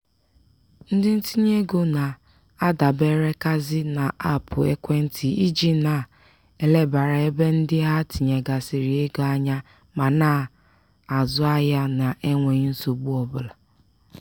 ndị ntinyeego na-adaberekazi n'aapụ ekwentị iji na-elebara ebe ndị ha tinyegasịrị ego anya ma na-azụ ahịa na-enweghi nsogbu ọbụla.